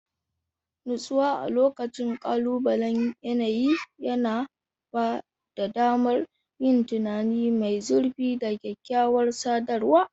Natsuwa a lokacin kalubalen yanayi yana ba da damar yin tunani mai zurfi da kyakkyawar sadarwa.